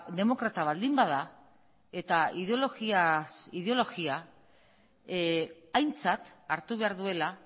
demokrata baldin bada eta ideologia ideologiaz aintzat hartu behar duela